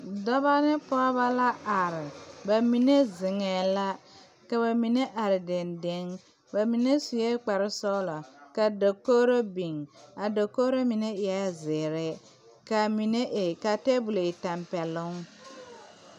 Dɔba ne pɔgeba la are ba mine ziŋɛɛ la ka bamine are deŋdeŋ ba mine suee kpare sɔglɔ ka dakogre biŋ a dakogro mine eɛɛ zēēre kaa mine e ka tabolɔ e tampɛloŋ.